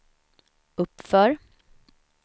uppför